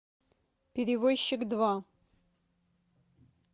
перевозчик два